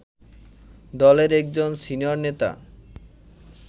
দলের একজন সিনিয়র নেতা